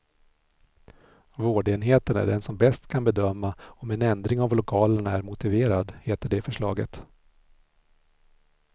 Vårdenheten är den som bäst kan bedöma om en ändring av lokalerna är motiverad, heter det i förslaget.